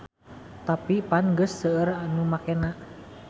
Tapi pan geus seueur nu makena.